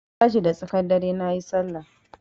Na tashi da tsakar dare nayi Sallah.